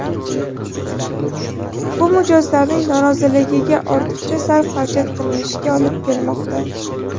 Bu mijozlarning noroziligiga, ortiqcha sarf-xarajat qilinishiga olib kelmoqda.